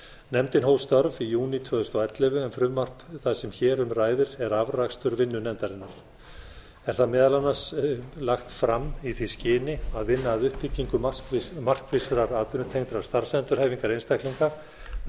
nefndin hóf störf í júní tvö þúsund og ellefu en frumvarp það sem hér um ræðir er afrakstur vinnu nefndarinnar er það meðal annars lagt fram í því skyni að vinna að uppbyggingu markvissrar atvinnutengdrar starfsendurhæfingar einstaklinga með